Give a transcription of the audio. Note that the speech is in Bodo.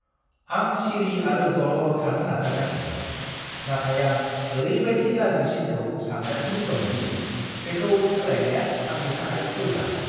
आं सिरि आरो दलर थानो नाजागासिनो, नाथाय आं ओरैबायदि गाज्रिसिनखौ सानगासिनो दं दि बेखौ सोलायनाया आंनि थाखाय गोब्राब!